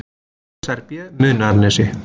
BSRB Munaðarnesi